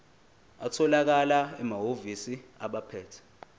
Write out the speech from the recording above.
atholakala emahhovisi abaphethe